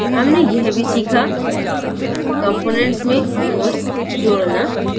हमने यह भी सीखाcomponents में notes जोड़ना